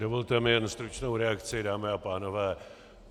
Dovolte mi jen stručnou reakci, dámy a pánové.